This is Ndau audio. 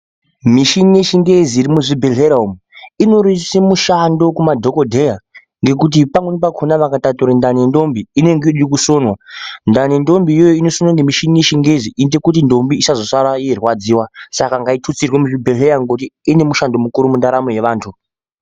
Michini yechingezi iri muzvibhehleya umu inorerutse mushando kumadhokodheya ngekuti pamweni pakona vakatature ndani yendombi inenge yoda kusonwa ,ndani yendombi iyoyo inosonwe ngemishini yechingezi inoite kuti ndombi isazosare yeirwadziwa saka ngaitutsirwe muzvibhehlera ngekuti ine mushando mukuru mundaramo yevantu.